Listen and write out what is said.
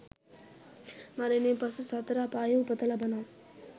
මරණින් පසු සතර අපායේ උපත ලබනවා